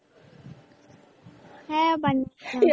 হ্যাঁ বানিয়েছিলাম।